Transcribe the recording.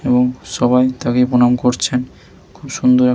এবং সবাই তাকে প্রণাম করছেন খুব সুন্দর--